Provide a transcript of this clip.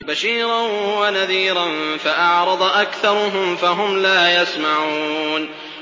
بَشِيرًا وَنَذِيرًا فَأَعْرَضَ أَكْثَرُهُمْ فَهُمْ لَا يَسْمَعُونَ